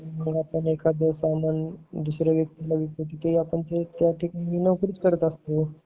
आपण एखादे समान दुसऱ्या व्यक्तीला विकतो तर ते ही त्या ठिकाणी नोकरीच करत असतो